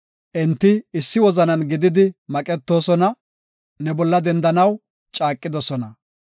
Enti issi wozanan gididi maqetoosona; ne bolla dendanaw caaqidosona.